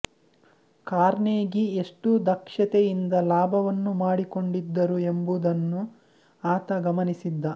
Carnegie ಎಷ್ಟು ದಕ್ಷತೆಯಿಂದ ಲಾಭವನ್ನು ಮಾಡಿಕೊಂಡಿದ್ದರು ಎಂಬುದನ್ನು ಆತ ಗಮನಿಸಿದ್ದ